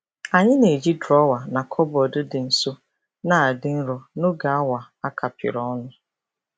Anyị na-eji drọwa na kọbọd dị nso na-adị nro n'oge awa a kapịrị ọnụ.